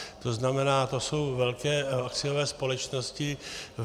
To znamená, to jsou velké akciové společnosti.